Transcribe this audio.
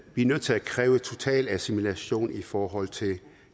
vi er nødt til at kræve total assimilation i forhold til